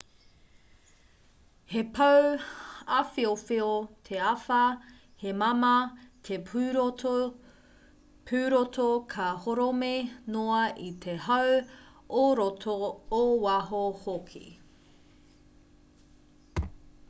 he pou āwhiowhio te āwhā he māmā te pūroto ka horomi noa i te hau ō roto ō waho hoki